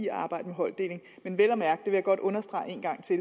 at arbejde med holddeling men jeg vil godt understrege en gang til